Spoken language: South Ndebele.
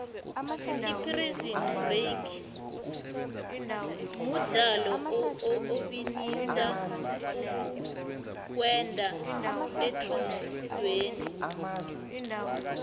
iprison break mudlalo obinisa ukuweqa etronqweni